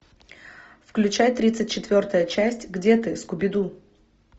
включай тридцать четвертая часть где ты скуби ду